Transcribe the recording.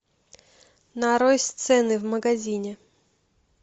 нарой сцены в магазине